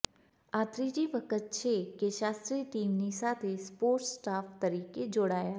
આ ત્રીજી વખત છે કે શાસ્ત્રી ટીમની સાથે સપોર્ટ સ્ટાફ તરીકે જોડાયા